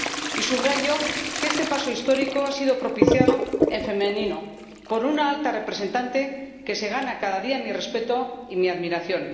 Y subrayo que este paso histórico ha sido propiciado en femenino, por una Alta Representante que se gana cada día mi respeto y mi admiración.